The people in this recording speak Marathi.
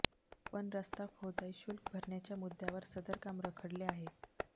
पण रस्ता खोदाई शुल्क भरण्याच्या मुद्दय़ावर सदर काम रखडले आहे